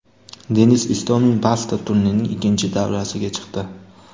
Denis Istomin Bastad turnirining ikkinchi davrasiga chiqdi.